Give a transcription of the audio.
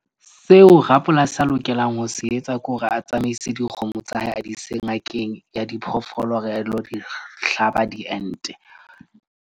Seo rapolasi a lokelang ho se etsa ke hore a tsamaise dikgomo tsa hae, a di ise ngakeng ya diphoofolo. Re a dilo di hlaba diente.